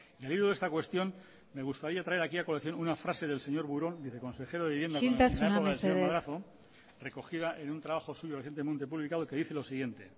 y al hilo de esta cuestión me gustaría traer aquí una frase del señor burón viceconsejero de vivienda isiltasuna mesedez de la época del señor madrazo recogida en un trabajo suyo recientemente publicado y que dice lo siguiente